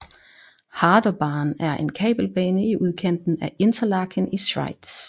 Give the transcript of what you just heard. Harderbahn er en kabelbane i udkanten af Interlaken i Schweiz